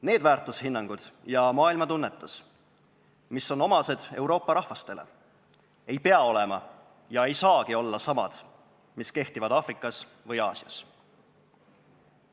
Need väärtushinnangud ja maailmatunnetus, mis on omased Euroopa rahvastele, ei pea olema ega saagi olla samad, mis kehtivad Aafrikas või Aasias.